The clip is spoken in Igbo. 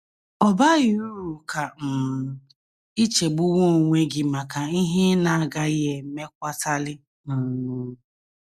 Ọ baghị uru ka um i chegbuwe onwe gị maka ihe ị na - agaghị emekwatali um.